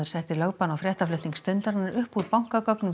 setti lögbann á fréttaflutning Stundarinnar upp úr